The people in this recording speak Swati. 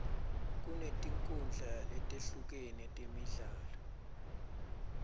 kunetinkhundla letehlukene temidlalo